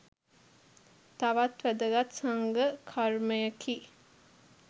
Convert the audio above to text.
තවත් වැදගත් සංඝ කර්මයකි.